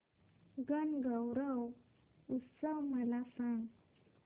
गणगौर उत्सव मला सांग